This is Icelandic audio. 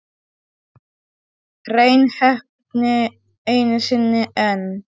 Hrein heppni einu sinni enn.